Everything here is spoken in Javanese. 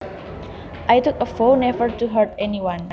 I took a vow never to hurt anyone